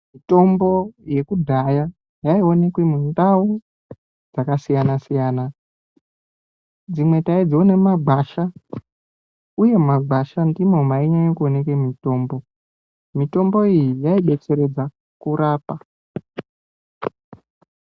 Mutombo yekudhaya yaionekwe mundau yakasiyana siyana. Dzimwe taidziona mumagwasha uye mumagwasha ndimo mainyanya kuoneke mitombo. Mitombo iyi yaidetseredza kurapa.